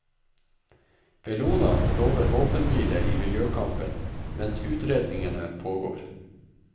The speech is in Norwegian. Bellona lover våpenhvile i miljøkampen mens utredningene pågår.